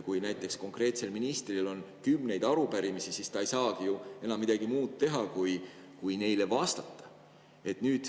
Kui näiteks ministril on kümneid arupärimisi, siis ta ei saagi ju enam midagi muud teha kui neile vastata.